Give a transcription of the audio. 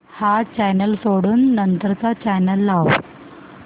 हा चॅनल सोडून नंतर चा चॅनल लाव